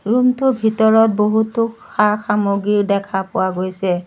ৰুমটোৰ ভিতৰত বহুতো সা-সামগ্ৰী দেখা পোৱা গৈছে।